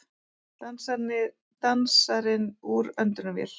Dansarinn úr öndunarvél